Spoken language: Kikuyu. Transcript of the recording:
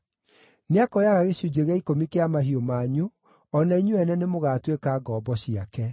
Nĩakoyaga gĩcunjĩ gĩa ikũmi kĩa mahiũ manyu, o na inyuĩ ene nĩ mũgaatuĩka ngombo ciake.